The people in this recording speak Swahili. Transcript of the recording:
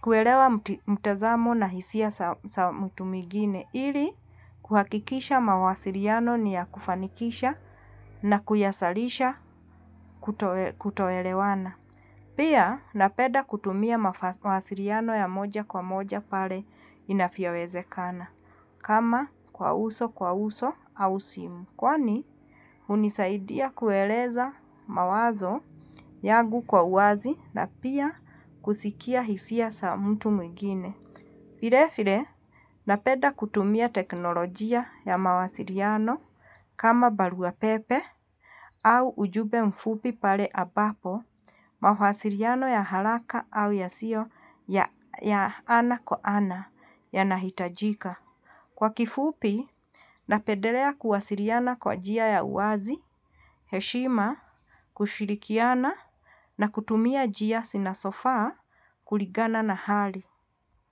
kuelewa mtazamo na hisia za mtu mwingine, ili kuhakikisha mawasiliano ni ya kufanikisha na kuyasalisha kutoelewana. Pia napenda kutumia mawasiliano ya moja kwa moja pale inavyowezekana kama kwa uso kwa uso au simu kwani hunisaidia kueleza mawazo yangu kwa uwazi na pia kusikia hisia za mtu mwingine. Vile vile, napenda kutumia teknolojia ya mawasiliano kama barua ya pepe au ujumbe mfupi pale ambapo mawasiliano ya haraka au yasio ya ana kwa ana yanahitajika. Kwa kifupi, napendelea kuwasiliana kwa njia ya uwazi, heshima, kushirikiana na kutumia njia zinazofaa kuligana na hali.